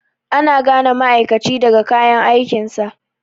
Ana gane ma'aikaci daga kayan aikinsa.